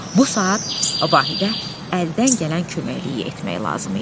Bu saat Vahidə əldən gələn köməkliyi etmək lazım idi.